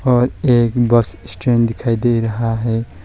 और एक bus stand दिखाई दे रहा है।